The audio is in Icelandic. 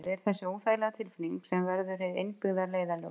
Það er þessi óþægilega tilfinning sem verður hið innbyggða leiðarljós.